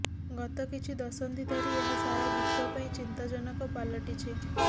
ଗତ କିଛି ଦଶନ୍ଧି ଧରି ଏହା ସାରା ବିଶ୍ୱ ପାଇଁ ଚିନ୍ତାଜନକ ପାଲଟିଛି